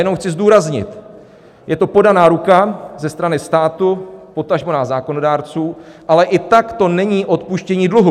Jenom chci zdůraznit, je to podaná ruka ze strany státu, potažmo nás zákonodárců, ale i tak to není odpuštění dluhu.